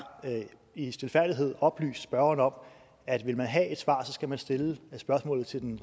i stilfærdighed oplyst spørgeren om at vil man have et svar skal man stille spørgsmålet til den